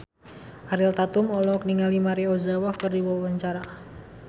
Ariel Tatum olohok ningali Maria Ozawa keur diwawancara